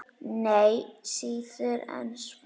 Nei, síður en svo.